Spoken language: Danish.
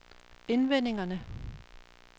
forventningerne